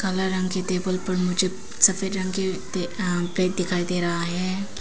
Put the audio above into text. काला रंग के टेबल पर मुझे सफेद रंग के प्लेट दिखाई दे रहा है।